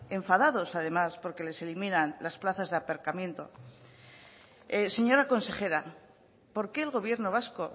enfadados además porque les eliminan las plazas de aparcamiento señora consejera por qué el gobierno vasco